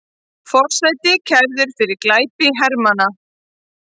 Forseti kærður fyrir glæpi hermanna